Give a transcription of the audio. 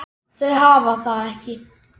Þau hafa það ekki.